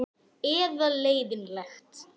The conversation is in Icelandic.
Og undan honum sleppur ekki mitt fólk.